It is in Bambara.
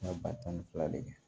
Ka ba tan ni fila le kɛ